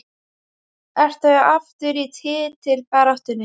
Ertu aftur í titilbaráttunni?